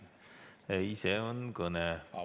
Ei, see on kõne.